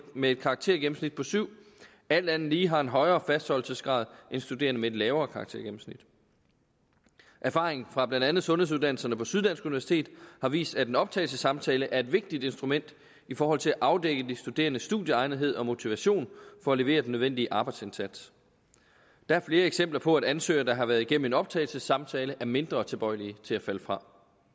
med et karaktergennemsnit på syv alt andet lige har højere fastholdelsesgrad end studerende med et lavere karaktergennemsnit erfaringen fra blandt andet sundhedsuddannelserne på syddansk universitet har vist at en optagelsessamtale er et vigtigt instrument i forhold til at afdække de studerendes studieegnethed og motivation for at levere den nødvendige arbejdsindsats der er flere eksempler på at ansøgere der har været igennem en optagelsessamtale er mindre tilbøjelige til at falde fra